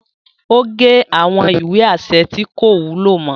O ge awọn ìwé aṣẹ tí ko wúlò mọ